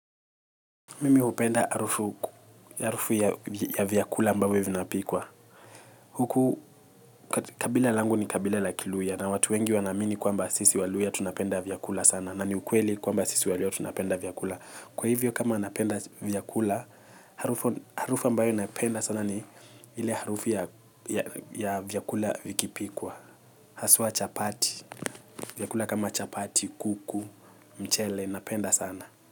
Mimi hupenda harufu ya vyakula ambavyo vinapikwa. Huku kabila langu ni kabila la kiluhya na watu wengi wanaamini kwamba sisi waluhya tunapenda vyakula sana. Na ni ukweli kwamba sisi waluhya tunapenda vyakula. Kwa hivyo kama napenda vyakula, harufu ambayo napenda sana ni ile harufu ya vyakula vikipikwa. Haswa chapati, vyakula kama chapati, kuku, mchele, napenda sana.